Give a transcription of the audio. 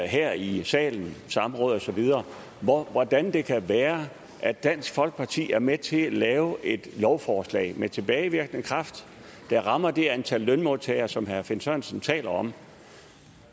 her i salen og på samråd og så videre hvordan det kan være at dansk folkeparti er med til at lave et lovforslag med tilbagevirkende kraft der rammer det antal lønmodtagere som herre finn sørensen taler om